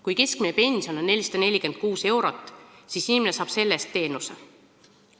Kui keskmine pension on 446 eurot, siis inimene saab selle eest teenuse.